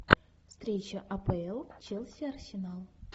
встреча апл челси арсенал